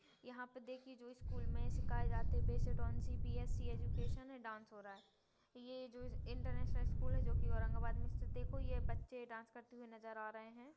यहाँ पे देखीये जो स्कूल में सिखाए जाते बेस्ड ओन सी_बी_एस_ई एजुकेशन है डांस हो रहा है ये जो इंटरनेशनल स्कूल है जो की औरंगाबाद में स्थित है देखो यह बच्चे डांस करते हुए नजर आ रहे है।